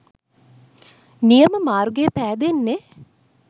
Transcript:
නියම මාර්ගය පෑදෙන්නේ.